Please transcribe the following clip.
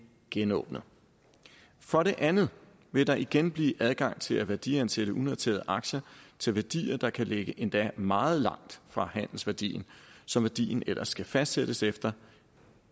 genåbnet for det andet vil der igen blive adgang til at værdiansætte unoterede aktier til værdier der kan ligge endda meget langt fra handelsværdien som værdien ellers skal fastsættes efter